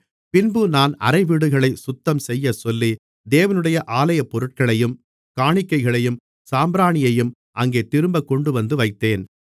பின்பு நான் அறைவீடுகளைச் சுத்தம் செய்யச்சொல்லி தேவனுடைய ஆலயப்பொருட்களையும் காணிக்கைகளையும் சாம்பிராணியையும் அங்கே திரும்பக் கொண்டுவந்து வைத்தேன்